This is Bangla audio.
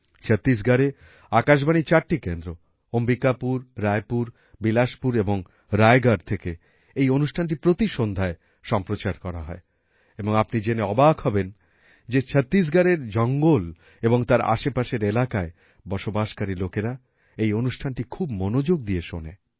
ছত্তিশগড়ে আকাশবাণীর চারটি কেন্দ্র অম্বিকাপুর রায়পুর বিলাসপুর এবং রায়গড় থেকে এই অনুষ্ঠানটি প্রতি সন্ধ্যায় সম্প্রচার করা হয় এবং আপনি জেনে অবাক হবেন যে ছত্তিশগড়ের জঙ্গল এবং তার আশেপাশের এলাকায় বসবাসকারী লোকেরা এই অনুষ্ঠানটি খুব মনোযোগ দিয়ে শোনে